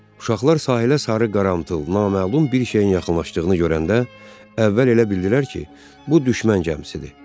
Uşaqlar sahilə sarı qarağaltı naməlum bir şeyin yaxınlaşdığını görəndə, əvvəl elə bildilər ki, bu düşmən gəmisidir.